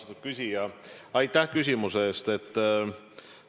Austatud küsija, aitäh küsimuse eest!